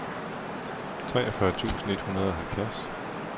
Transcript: treogfyrre tusind et hundrede og halvfjerds